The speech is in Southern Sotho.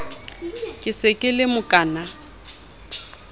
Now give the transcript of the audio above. ke se ke le mokaana